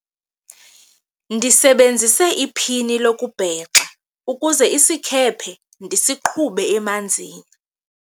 ndisebenzise iphini lokubhexa ukuze isikhephe ndisiqhube emanzini